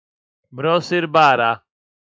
Brosir bara.